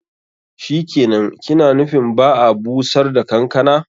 Shikenan, ki na nufin ba'a bushar da kankana.